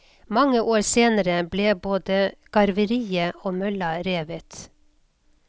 Mange år senere ble både garveriet og mølla revet.